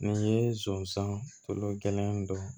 Nin ye zonsan tulo gɛlɛn dɔn